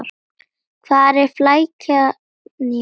Hvar er flækjan í málinu?